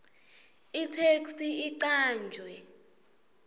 itheksthi icanjwe